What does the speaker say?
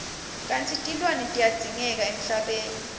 kantsi tilwane tiyadzingeka emhlabeni